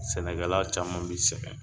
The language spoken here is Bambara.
Sɛnɛkɛla caman bi sɛgɛn